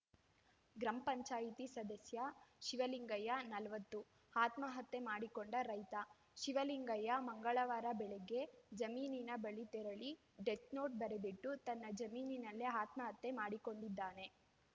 ಗ್ರಾಮ ಪಂಚಾಯತಿ ಸದಸ್ಯ ಶಿವಲಿಂಗಯ್ಯ ನಲವತ್ತು ಆತ್ಮಹತ್ಯೆ ಮಾಡಿಕೊಂಡ ರೈತ ಶಿವಲಿಂಗಯ್ಯ ಮಂಗಳವಾರ ಬೆಳಗ್ಗೆ ಜಮೀನಿನ ಬಳಿ ತೆರಳಿ ಡೆತ್‌ ನೋಟ್‌ ಬರೆದಿಟ್ಟು ತನ್ನ ಜಮೀನಿನಲ್ಲೇ ಆತ್ಮಹತ್ಯೆ ಮಾಡಿಕೊಂಡಿದ್ದಾನೆ